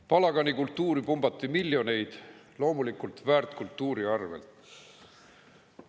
Palaganikultuuri pumbati miljoneid, loomulikult väärtkultuuri arvel.